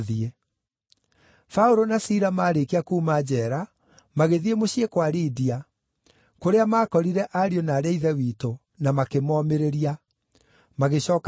Paũlũ na Sila maarĩkia kuuma njeera, magĩthiĩ mũciĩ kwa Lidia, kũrĩa maakorire ariũ na aarĩ a Ithe witũ, na makĩmoomĩrĩria. Magĩcooka magĩĩthiĩra.